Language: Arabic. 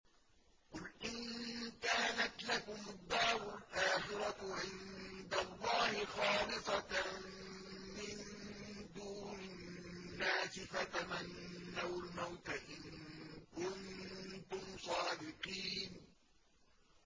قُلْ إِن كَانَتْ لَكُمُ الدَّارُ الْآخِرَةُ عِندَ اللَّهِ خَالِصَةً مِّن دُونِ النَّاسِ فَتَمَنَّوُا الْمَوْتَ إِن كُنتُمْ صَادِقِينَ